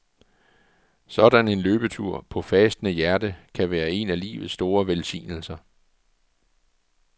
Sådan en løbetur på fastende hjerte kan være en af livets store velsignelser.